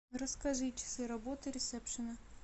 расскажи часы работы ресепшена